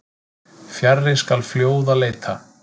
Fjarri skal fljóða leita.